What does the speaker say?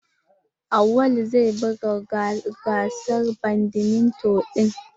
Auwalu zai buga gasar badminto din.